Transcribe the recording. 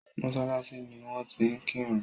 mọ́sálásí ni wón ti ń kírun.